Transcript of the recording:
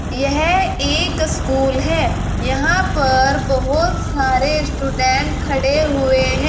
यह एक स्कूल है जहां पर बहुत सारे स्टूडेंट खड़े हुए हैं।